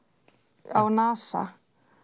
á NASA